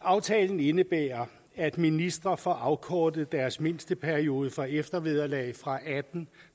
aftalen indebærer at ministre får afkortet deres mindsteperiode for eftervederlag fra atten